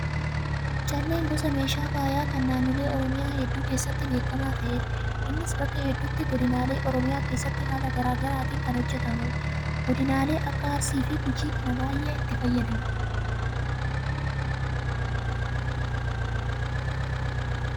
Calleen gosa meeshaa faayaa kan naannolee oromiyaa hedduu keessatti beekamaa ta'edha. Innis bakka hedduutti godinaalee oromiyaa keessatti haala garaagaraatiin kan hojjatamudha. Godinaaleen akka Arsii fi Gujii kana baay'ee itti fayyadamu.